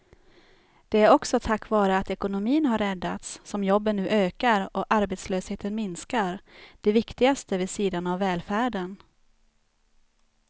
Det är också tack vare att ekonomin har räddats som jobben nu ökar och arbetslösheten minskar, det viktigaste vid sidan av välfärden.